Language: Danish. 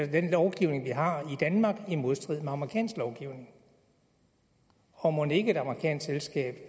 den lovgivning vi har i danmark i modstrid med amerikansk lovgivning og mon ikke et amerikansk selskab